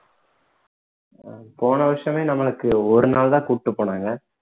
போன வருஷமே நமக்கு ஒரு நாள் தான் கூட்டிட்டு போனாங்க